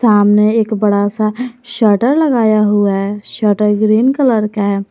सामने एक बड़ा सा शटर लगाया हुआ है शटर ग्रीन कलर का है।